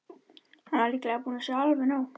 Hann væri líklega búinn að sjá alveg nóg.